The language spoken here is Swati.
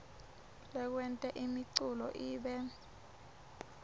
lekwenta imiculu ibe